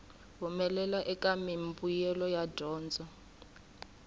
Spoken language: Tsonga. humelela eka mimbuyelo ya dyondzo